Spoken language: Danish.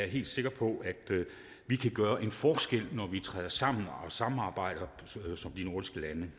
helt sikker på vi kan gøre en forskel når vi træder sammen og samarbejder som nordiske lande